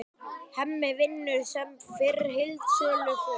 Hemmi vinnur sem fyrr í heildsölu föður síns.